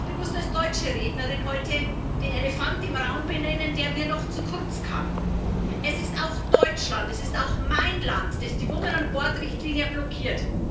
Ich möchte ganz bewusst als deutsche Rednerin heute den Elefant im Raum benennen, der mir noch zu kurz kam Es ist auch Deutschland, es ist auch mein Land, das die Women on boards Richtlinie blockiert.